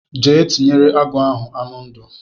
Jee tinyere agụ ahụ anụ ndụ.